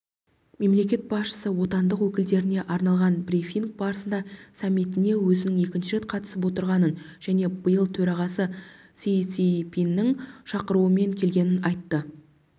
мемлекет басшысы отандық өкілдеріне арналған брифинг барысында саммитіне өзінің екінші рет қатысып отырғанын және биыл төрағасы си цзиньпиннің шақыруымен келгенін айтты